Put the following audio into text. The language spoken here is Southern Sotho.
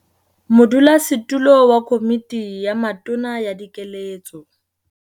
Modulasetulo wa Komiti ya Matona ya Dikeletso